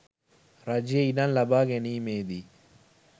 රජයේ ඉඩම් ලබා ගැනීමේ දී